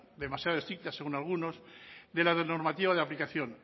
demasiado estricta según algunos de la normativa de aplicación